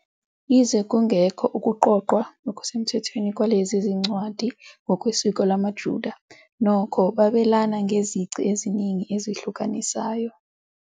Yize kungekho ukuqoqwa okusemthethweni kwalezi zincwadi ngokwesiko lamaJuda, nokho babelana ngezici eziningi ezihlukanisayo.